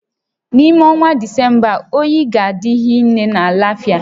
N'ime ọnwa Disemba a, oyi ga-adị hinne na Lafịa